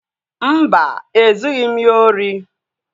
Mba, ezughị m ya ori